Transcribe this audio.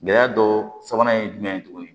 Gɛlɛya dɔ sabanan ye jumɛn ye tuguni